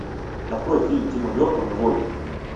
открой фильм тима бертона вольт